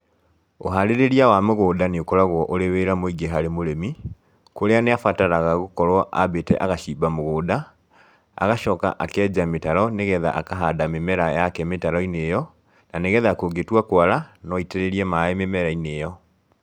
Ũharĩrĩria wa mũgũnda nĩ ũkoragwo ũrĩ wĩra mũingĩ harĩ mũrĩmi, kũrĩa nĩ abataraga gũkorũo ambĩĩte agacimba mũgũnda, agacoka akenja mĩtaro nĩ getha akahanda mĩmera yake mĩtaro-inĩ ĩyo, na nĩ getha kũngĩtua kwara no aitĩrĩrie maĩ mĩmera-inĩ ĩyo.